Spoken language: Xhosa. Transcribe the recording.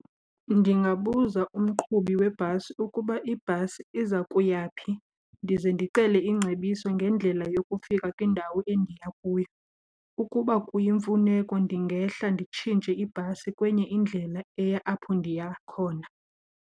Ndingabuza umqhubi webhasi ukuba ibhasi iza kuya phi, ndize ndicele ingcebiso ngendlela yokufika kwindawo endiya kuyo. Ukuba kuyimfuneko ndingehla nditshintshe ibhasi kwenye indlela eya apho ndiya khona.